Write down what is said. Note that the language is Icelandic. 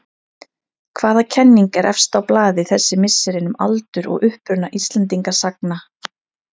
Hvaða kenning er efst á blaði þessi misserin um aldur og uppruna Íslendingasagna?